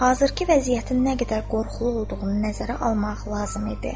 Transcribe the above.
Hazırki vəziyyətin nə qədər qorxulu olduğunu nəzərə almaq lazım idi.